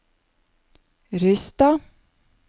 Rysstad